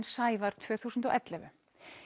Sævar tvö þúsund og ellefu